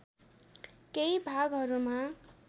केही भागहरूमा